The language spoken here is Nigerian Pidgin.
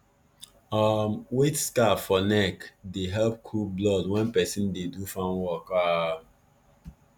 um wet scarf for neck dey help cool blood when person dey do farm work um